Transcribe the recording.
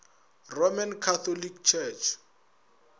roman catholic church